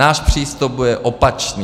Náš přístup bude opačný.